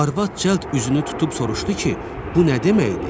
Arvad cəld üzünü tutub soruşdu ki, bu nə deməkdir?